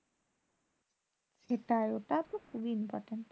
সেটাই ওটা তো খুবই important.